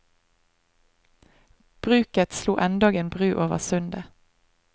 Bruket slo endog en bru over sundet.